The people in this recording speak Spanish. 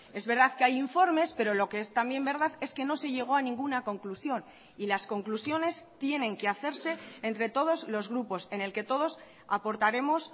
es verdad que hay informes pero lo que es también verdad es que no se llegó a ninguna conclusión y las conclusiones tienen que hacerse entre todos los grupos en el que todos aportaremos